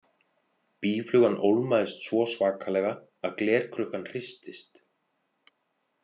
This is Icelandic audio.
Býflugan ólmaðist svo svakalega að glerkrukkan hristist.